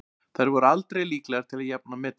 Þær voru aldrei líklegar til að jafna metin.